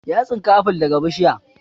Ya tsinka aful daga bishiya